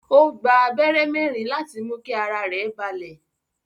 Ó gba abẹ́rẹ́ mẹ́ẹ̀rin láti mú kí ara rẹ̀ balẹ̀